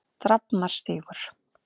Drafnarstíg